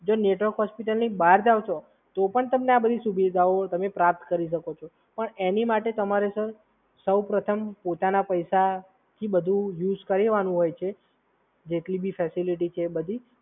જો નેટવર્ક હોસ્પિટલની બહાર જાઓ છો તો પણ તમે આ બધી સુવિધાઓ તમે પ્રાપ્ત કરી શકો છો, પણ એની માટે તમારે સર સૌપ્રથમ પોતાના પૈસાથી બધુ યુઝ કરવાનું હોય છે, જેટલી જે ફેસીલીટી છે એ બધી.